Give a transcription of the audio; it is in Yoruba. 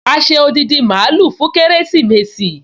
A ṣe odindi mààúlù fún kérésìmesì